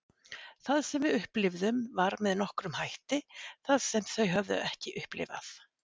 Það sem við upplifðum var með nokkrum hætti það sem þau höfðu ekki upplifað.